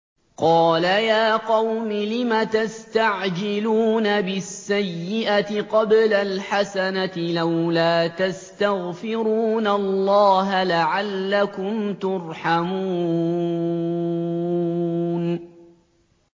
قَالَ يَا قَوْمِ لِمَ تَسْتَعْجِلُونَ بِالسَّيِّئَةِ قَبْلَ الْحَسَنَةِ ۖ لَوْلَا تَسْتَغْفِرُونَ اللَّهَ لَعَلَّكُمْ تُرْحَمُونَ